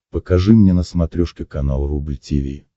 покажи мне на смотрешке канал рубль ти ви